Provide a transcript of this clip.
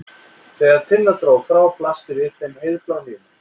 Þegar Tinna dró frá blasti við þeim heiðblár himinn.